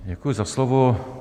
Děkuji za slovo.